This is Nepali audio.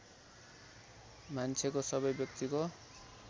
मान्छेको सबै व्यक्तिको